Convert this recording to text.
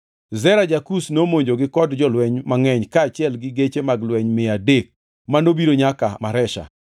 Zera ja-Kush nomonjogi kod jolweny mangʼeny kaachiel gi geche mag lweny mia adek manobiro nyaka Maresha.